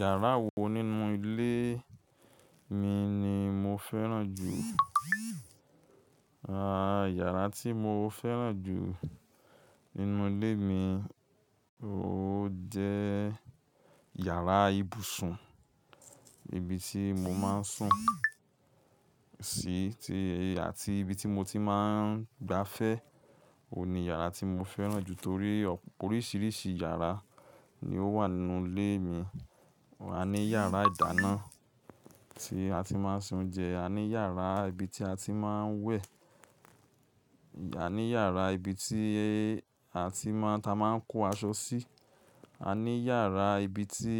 Yàrá wo nínú ilé mi ni mo fẹ́ràn jù? Aà, yàrá tí mo fẹ́ràn jù nínú ilé mi, ó jẹ́ yàrá ibùsùn. Ibi tí mo máa ń sùn sí ti àti ibi tí mo ti máa ń gbafẹ́. Ó ní yàrá tí mo fẹ́ràn jù torí oríṣiríṣi yàrá ni ó wà nínú ilé mi. A ní yàrá ìdáná tí a ti máa ń ṣe oúnjẹ, a ní yàrá ibi tí a ti máa ń wẹ̀, a ní yàrá ibi tí a ti máa, ta máa ń kó aṣọ sí, a ní yàrá ibi tí